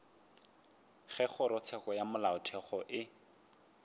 ge kgorotsheko ya molaotheo e